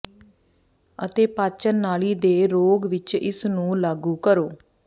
ਅਤੇ ਪਾਚਨ ਨਾਲੀ ਦੇ ਰੋਗ ਵਿਚ ਇਸ ਨੂੰ ਲਾਗੂ ਕਰੋ